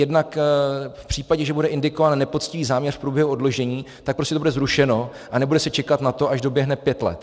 Jednak v případě, že bude indikován nepoctivý záměr v průběhu oddlužení, tak prostě to bude zrušeno a nebude se čekat na to, až doběhne pět let.